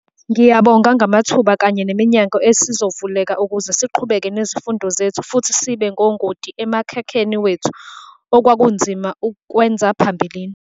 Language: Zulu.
"Ngiyabonga ngamathuba kanye neminyango ezosivulekela ukuze siqhubeke nezifundo zethu futhi sibe ngongoti emkhakheni wethu, okwakunzima ukukwenza phambilini."